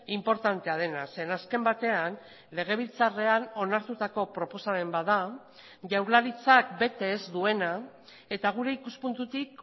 inportantea dena zeren azken batean legebiltzarrean onartutako proposamen bat da jaurlaritzak bete ez duena eta gure ikuspuntutik